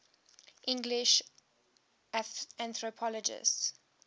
english anthropologists